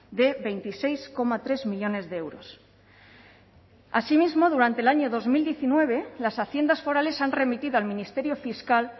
de veintiséis coma tres millónes de euros asimismo durante el año dos mil diecinueve las haciendas forales han remitido al ministerio fiscal